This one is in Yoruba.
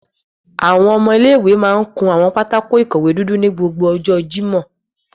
Awọn ọmọ ile-iwe màa ǹ kun awọn pátákó-ikọwe dudu ni gbogbo ọjọ Jimọ